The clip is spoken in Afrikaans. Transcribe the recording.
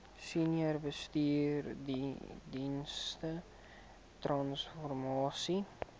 senior bestuursdienste transformasie